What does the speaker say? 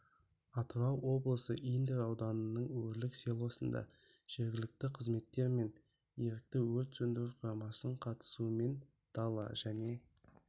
атырау облысы индер ауданының өрлік селосында жергілікті қызметтер мен ерікті өрт сөндіру құрамасының қатысуымен дала және